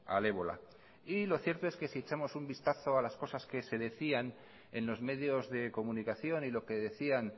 al ébola y lo cierto es que si echamos un vistazo a las cosas que se decían en los medios de comunicación y lo que decían